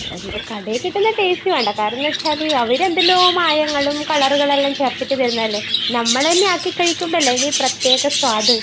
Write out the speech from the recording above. അല്ല. കടയിൽ കിട്ടുന്ന ടേസ്റ്റ് വേണ്ട. കാരണം എന്താണെന്ന് വെച്ചാല്, അവർ എന്തെല്ലോ മായങ്ങളും കളറുകളും എല്ലാം ചേർത്തിട്ട് തരുന്നതല്ലേ. നമ്മൾ തന്നെ ആക്കിക്കഴിമ്പോഴല്ലേ അതിന് പ്രത്യേക സ്വാദ്.